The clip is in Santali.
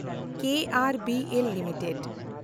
ᱠᱮᱮᱱᱰᱵᱤᱮᱞ ᱞᱤᱢᱤᱴᱮᱰ